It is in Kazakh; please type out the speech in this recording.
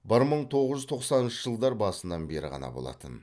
бір мың тоғыз жүз тоқсаныншы жылдар басынан бері ғана болатын